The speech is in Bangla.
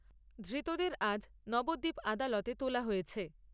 ধৃতদের আজ নবদ্বীপ আদালতে তোলা হয়েছে।